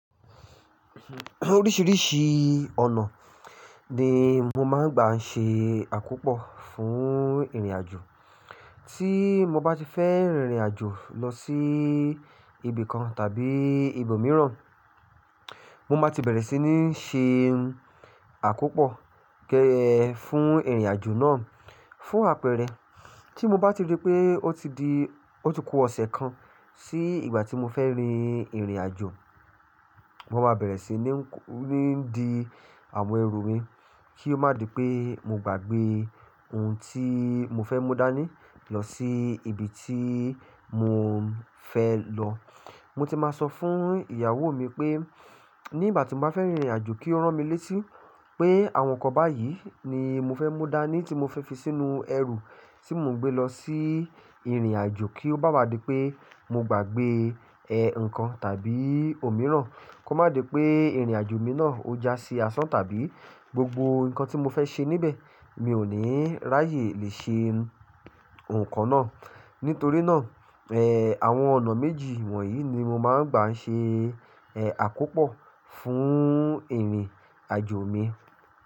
Oríṣìíríṣìí ọ̀nà ni mo máa ń gbà ń ṣe àkópọ̀ fún ìrìnàjò. Tí mo bá ti fẹ́ rin ìrìnàjò lọ sí ibì kan tàbí ibòmíràn, mo máa ti bẹ̀rẹ̀ sí ní ṣe àkópọ̀ gẹ́ fún ìrìnàjò náà. Fún àpẹẹrẹ, tí mo bá ti rí pé ó ti di, ó ti ku ọ̀sẹ̀ kan sí ìgbà tí mo fẹ́ rin ìrìnàjò, mo máa bẹ̀rẹ̀ sí ní, ńi di àwọn ẹrù mi kí ó má di pé mo gbàgbé oun tí mo fẹ́ mú dání lọ sí ibi tí mo fẹ́ lọ. Mo ti máa sọ fún ìyàwó mi pé nígbà tí mo bá fẹ́ rin ìrìnàjò kí ó rán mi létí pé àwọn nǹkan báyìí ni mo fẹ́ mú dání tí mo fi sínú ẹrù tí mo ń gbé lọ sí ìrìnàjò kí ó bá wa di pé mo gbàgbé ẹ́ nǹkan tàbí òmíràn. Kó má di pé ìrìnàjò mi náà ó já sí asán tàbí gbogbo nǹkan tí mo fẹ́ ṣe níbẹ̀ mi ò ní ráyè le ṣe nǹkan náà. Nítorí náà, ẹ́n, àwọn ọ̀nà méjì wọ̀nyí ni mo máa ń gbà ń ṣe ẹ́ àkópọ̀ fún ìrìnàjò mi.